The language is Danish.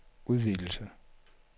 udvidelse